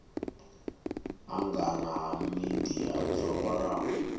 angana ha midia dzo vhalaho